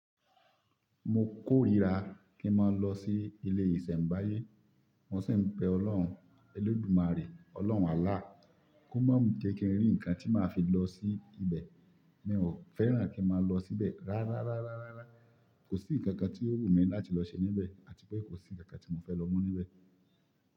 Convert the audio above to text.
Mo kórìíra kí n má lọ sí ilé ìsẹ̀mbáyé. Mo sì ń be Ọlọ́hun, Eledùmarè, Ọlọ́hun Àlláh kó má mú jẹ́ kí n rí ǹkan tí máa fi lọ sí ibẹ̀, mí ò fẹ́ràn kí n má lọ síbẹ̀. Rárá rárá rárá, kò sí ǹkankan tí ó wù mí láti lọ ṣe níbẹ̀ àti pé kò sí ǹkankan tí mo fẹ́ lọ mú níbẹ̀